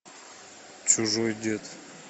чужой дед